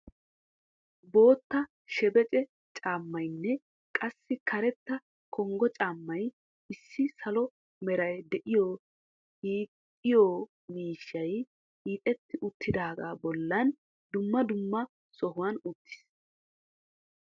Bootta shebece caammaynne qassi karetta kongo caammay issi salo meray de"iyo hiixxiyo miishshay hiixeti uttidagaa bollan dumma dumma sohuwan uttis.